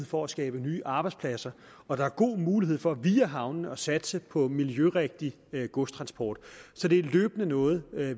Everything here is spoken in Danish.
for at skabe nye arbejdspladser og der er gode muligheder for via havnene at satse på miljørigtig godstransport så det er noget